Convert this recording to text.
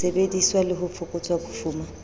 disebediswa le ho fokotsa bofuma